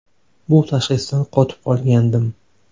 Bu tashxisdan qotib qolgandim.